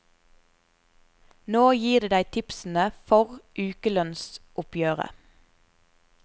Nå gir de deg tipsene for ukelønnsoppgjøret.